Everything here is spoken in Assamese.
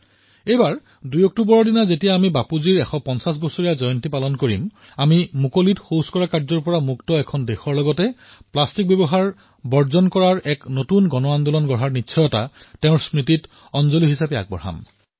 এইবাৰ ২ অক্টোবৰত বাপুৰ ১৫০তম জয়ন্তী পালন কৰাৰ সময়ত আমি তেওঁক মুক্ত স্থানত কৰা শৌচমুক্ত ভাৰত সমৰ্পণ কৰাই নহয় সেইদিনা সমগ্ৰ দেশত প্লাষ্টিকৰ বিৰুদ্ধে এক নতুন জনআন্দোলনৰো প্ৰতিজ্ঞা লম